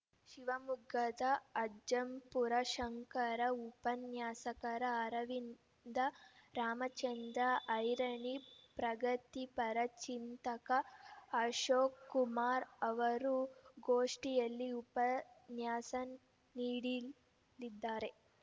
ಶಿವಮೊಗ್ಗದ ಅಜ್ಜಂಪುರ ಶಂಕರ ಉಪನ್ಯಾಸಕರ ಅರವಿಂದ ರಾಮಚಂದ್ರ ಐರಣಿ ಪ್ರಗತಿ ಪರಚಿಂತಕ ಅಶೋಕ್‌ಕುಮಾರ್‌ ಅವರು ಗೋಷ್ಠಿಯಲ್ಲಿ ಉಪನ್ಯಾಸ ನೀಡಿಲಿದ್ದಾರೆ